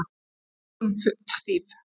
Mér finnst hún full stíf